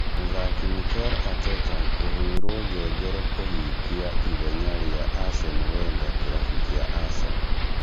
Mũthaki Mikel Arteta kũhĩrwo ngengere kũhingia ithinya rĩa Arsene Wenger kĩrabu kĩa Arsenal